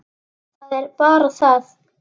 Það er bara það.